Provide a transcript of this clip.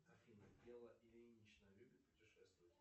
афина белла ильинична любит путешествовать